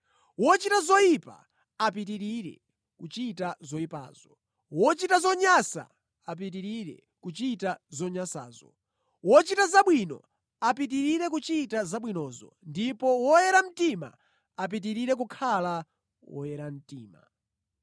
Wochita zoyipa apitirire kuchita zoyipazo; wochita zonyansa apitirire kuchita zonyansazo; wochita zabwino apitirire kuchita zabwinozo; ndipo woyera mtima apitirire kukhala woyera mtima.”